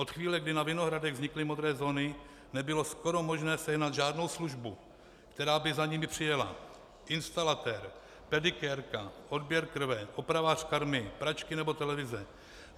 Od chvíle, kdy na Vinohradech vznikly modré zóny, nebylo skoro možné sehnat žádnou službu, která by za nimi přijela: instalatér, pedikérka, odběr krve, opravář karmy, pračky nebo televize.